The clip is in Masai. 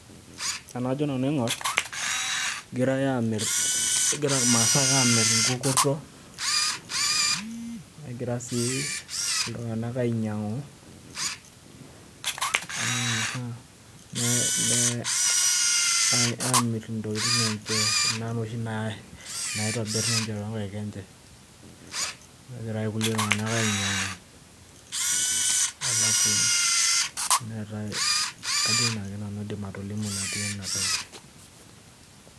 Enajo nanu aing'or, egirai amir, egira irmaasai amir inkukurto, negira si iltung'anak ainyang'u. Amir intokiting enche. Kuna toshi naitobir ninche tonkaik enche. Negira ake kulie tung'anak ainyang'u, alafu neetae kajo inake nanu aidim atolimu natii enatoki.